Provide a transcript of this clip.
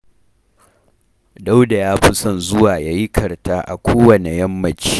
Dauda ya fi son zuwa ya yi karta a kowanne yammaci